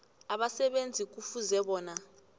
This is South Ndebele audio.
abasebenzi kufuze bona